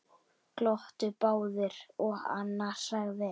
Glottu báðir og annar sagði